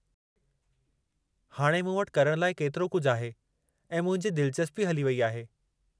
हाणे मूं वटि करणु लाइ केतिरो कुझु आहे ऐं मुंहिंजी दिलचस्पी वेई हली आहे।